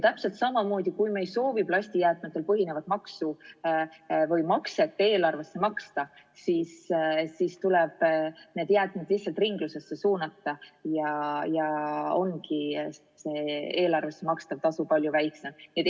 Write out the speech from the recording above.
Täpselt samamoodi, kui me ei soovi plastijäätmetel põhinevat maksu või makset eelarvesse maksta, siis tuleb need jäätmed ringlusesse suunata ja ongi eelarvest makstav tasu palju väiksem.